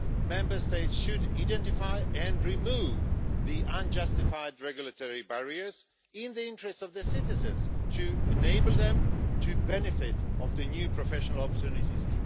Member States should identify and remove the unjustified regulatory barriers in the interests of the citizens to enable them to benefit from the new professional opportunities.